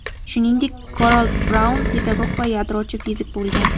Shuningdek, Garold Braun pedagog va yadrochi fizik bo‘lgan.